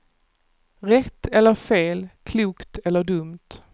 Rätt eller fel, klokt eller dumt.